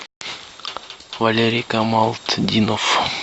валерий камалтдинов